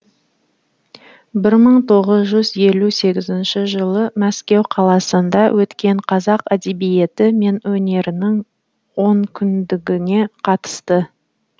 бір мың тоғыз жүз елу сегізінші жылы мәскеу қаласында өткен қазақ әдебиеті мен өнерінің онкүндігіне қатысты